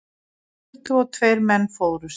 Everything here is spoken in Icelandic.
Tuttugu og tveir menn fórust.